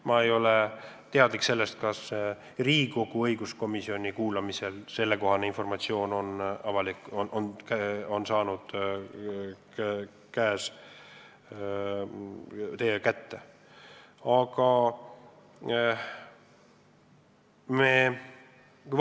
Ma ei ole teadlik, kas Riigikogu õiguskomisjon peab oma kuulamistel saama sellekohast informatsiooni ja kas te olete seda saanud.